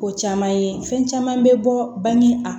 Ko caman ye fɛn caman bɛ bɔ bange a